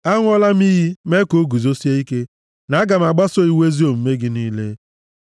Aṅụọla m iyi, mee ka o guzosie ike, na aga m agbaso iwu ezi omume gị niile.